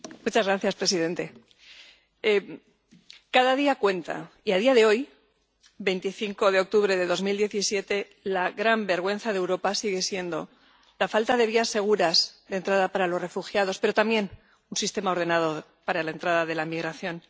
Señor presidente, cada día cuenta y a día de hoy, 25 de octubre de 2017, la gran vergüenza de Europa sigue siendo la falta de vías seguras de entrada para los refugiados, pero también de un sistema ordenado para la entrada de la migración.